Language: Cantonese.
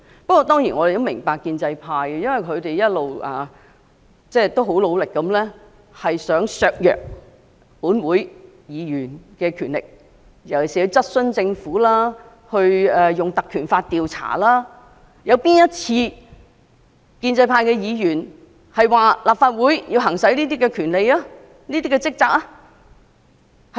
我們當然也明白，建制派一直努力削弱本會議員的權力，特別是在質詢政府及以《立法會條例》調查政府方面，建制派議員可曾支持立法會行使相關職權和職責？